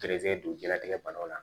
Gɛrɛsɛgɛ don jilatigɛ banaw la